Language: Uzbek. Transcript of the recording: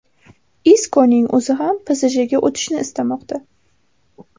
Iskoning o‘zi ham PSJga o‘tishni istamoqda.